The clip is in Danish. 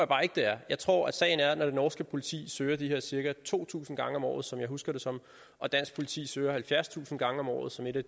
bare ikke det er jeg tror sagen er at når det norske politi søger de her cirka to tusind gange om året som jeg husker det som og dansk politi søger halvfjerdstusind gange om året som et af